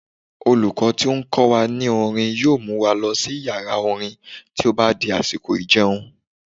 Olùkọ́ tó n kọ wa ní orin yóò mu wa lọ sí yàrá-orin tó bá di àsìkò ìjẹun